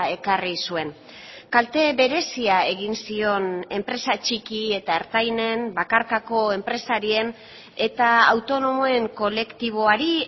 ekarri zuen kalte berezia egin zion enpresa txiki eta ertainen bakarkako enpresarien eta autonomoen kolektiboari